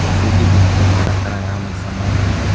Gwĩbundithia mĩtaratara ya maica mothe.